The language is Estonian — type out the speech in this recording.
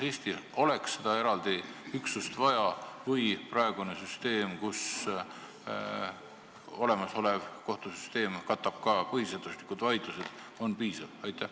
Kas Eestil oleks seda eraldi üksust vaja või on piisav praegune süsteem, kus olemasolev kohtusüsteem katab ka põhiseaduslikud vaidlused?